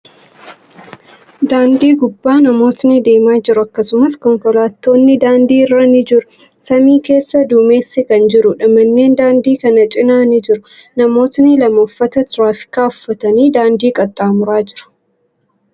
Daandii gubbaa namootni deemaa jiru. Akkasumas, konkolaatotni daandii irra ni jiru. Samii keessa duumessi kan jiruudha. Manneen daandii kana cinaa ni jiru. Namootni lama uffata tiraafikaa uffatanii daandii qaxxaamuraa jiru.